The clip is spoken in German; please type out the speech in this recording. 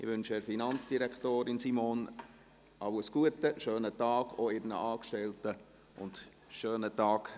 Ich wünsche der Finanzdirektorin Simon alles Gute, einen schönen Tag, auch ihren Angestellten und schönen Tag.